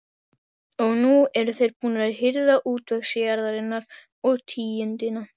Og nú eru þeir búnir að hirða útvegsjarðirnar og tíundina.